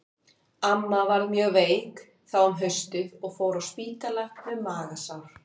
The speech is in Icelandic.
Amma varð mjög veik þá um haustið og fór á spítala með magasár.